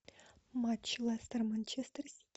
матч лестер манчестер сити